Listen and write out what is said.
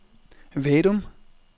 Vadum